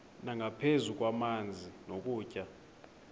nangaphezu kwamanzi nokutya